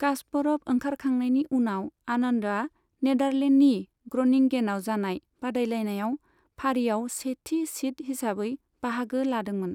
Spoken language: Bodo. कास्परभ ओंखारखांनायनि उनाव आनन्दआ नेदारलेन्डनि ग्रनिंगेनआव जानाय बादायलायनायाव फारियाव सेथि सिद हिसाबै बाहागो लादोंमोन।